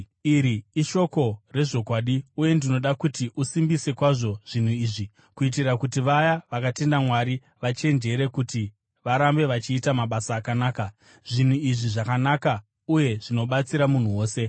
Iri ishoko rezvokwadi. Uye ndinoda kuti usimbise kwazvo zvinhu izvi, kuitira kuti vaya vakatenda Mwari vachenjere kuti varambe vachiita mabasa akanaka. Zvinhu izvi zvakanaka uye zvinobatsira munhu wose.